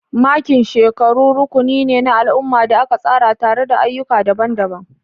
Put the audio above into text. Makin shekaru rukuni ne na al'umma da aka tsara tare da ayyuka daban-daban.